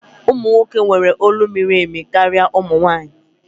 Ụmụ nwoke nwere olu miri emi karịa ụmụ nwanyị